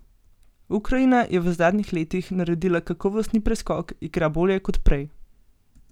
Ukrajina je v zadnjih letih naredila kakovostni preskok, igra bolje kot prej.